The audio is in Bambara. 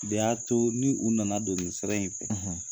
De y'a to ni u nana don nin sira in na.